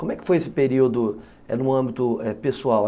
Como é que foi esse período no âmbito pessoal?